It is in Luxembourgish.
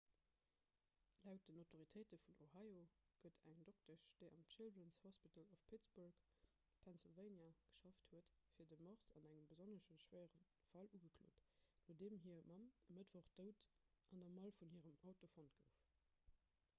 laut den autoritéite vun ohio gëtt eng doktesch déi am children's hospital of pittsburgh pennsylvania geschafft huet fir de mord an engem besonnesch schwéierem fall ugeklot nodeem hir mamm e mëttwoch dout an der mall vun hirem auto fonnt gouf